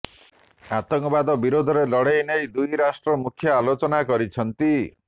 ଆତଙ୍କବାଦ ବିରୋଧରେ ଲଢ଼େଇ ନେଇ ଦୁଇ ରାଷ୍ଟ୍ର ମୁଖ୍ୟ ଆଲୋଚନା କରିଛନ୍ତି